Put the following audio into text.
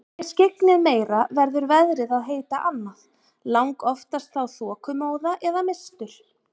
Sé skyggnið meira verður veðrið að heita annað, langoftast þá þokumóða eða mistur.